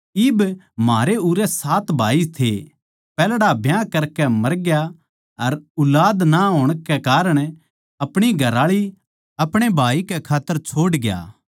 इब म्हारै उरै सात भाई थे पैहल्ड़ा ब्याह करकै मरग्या अर ऊलाद ना होण कै कारण अपणी घरआळी अपणे भाई कै खात्तर छोड़ग्या